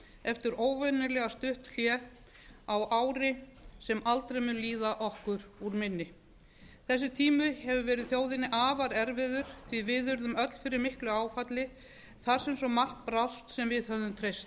eftir óvenjulega stutt hlé á ári sem aldrei mun líða okkur úr minni þessi tími hefur verið þjóðinni afar erfiður því að við urðum öll fyrir miklu áfalli þar sem svo margt brást sem við höfðum treyst á